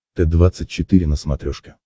т двадцать четыре на смотрешке